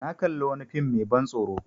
Na kalli wani fm mai ban tsoro